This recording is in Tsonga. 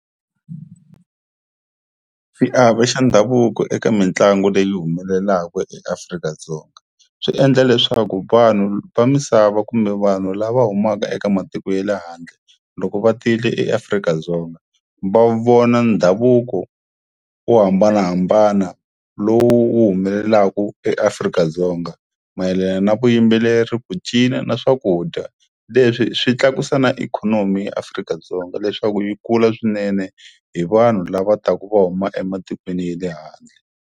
Xiave xa ndhavuko eka mitlangu leyi humelelaku eAfrika-Dzonga swi endla leswaku vanhu va misava kumbe vanhu lava humaka eka matiko ye le handle loko va tile eAfrika-Dzonga va vona ndhavuko wo hambanahambana lowu wu humelelaku eAfrika-Dzonga mayelana na vuyimbeleri ku cina na swakudya leswi swi tlakusa na ikhonomi ya Afrika-Dzonga leswaku yi kula swinene hi vanhu lava taka va huma ematikweni ya le handle.